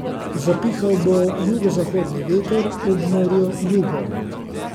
Zapihal bo jugozahodni veter, ob morju jugo.